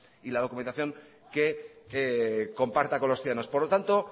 y la documentación que comparta con los ciudadanos por lo tanto